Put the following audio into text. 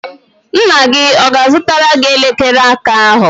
Nna gị ọ ga-azụtara gị elekere aka ahụ?